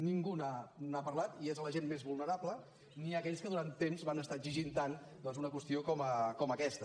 ningú n’ha parlat i és a la gent més vulnerable ni aquells que durant temps van estar exigint tant doncs una qüestió com aquesta